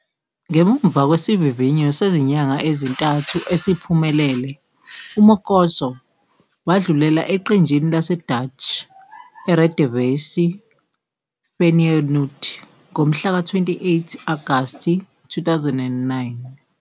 Ngemuva kwesivivinyo sezinyanga ezintathu esiphumelele, uMokotjo wadlulela eqenjini laseDutch Eredivisie Feyenoord ngomhlaka 28 Agasti 2009.